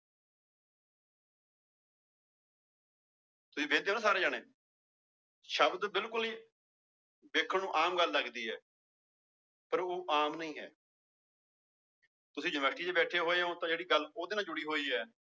ਤੁਸੀਂ ਵੇਖਦੇ ਹੋ ਨਾ ਸਾਰੇ ਜਾਣੇ ਸ਼ਬਦ ਬਿਲਕੁਲ ਹੀ ਵੇਖਣ ਨੂੰ ਆਮ ਗੱਲ ਲੱਗਦੀ ਹੈ ਪਰ ਉਹ ਆਮ ਨਹੀਂ ਹੈ ਤੁਸੀਂ university ਚ ਬੈਠੇ ਹੋਏ ਹੋ ਤਾਂ ਜਿਹੜੀ ਗੱਲ ਉਹਦੇ ਨਾਲ ਜੁੜੀ ਹੋਈ ਹੈ